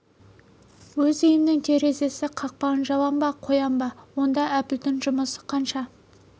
өз үйімнің терезесі кақпағын жабам ба қоям ба онда әбілдің жұмысы қанша